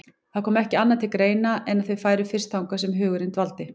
Það kom ekki annað til greina en að þau færu fyrst þangað sem hugurinn dvaldi.